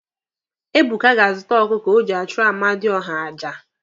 Ebuka ga-azụta ọkụkọ o ji achụrụ amadịọha aja.